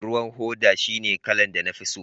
ruwan hoda shine kalar da na fi so